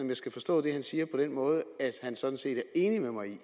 jeg skal forstå det han siger på den måde at han sådan set er enig med mig i at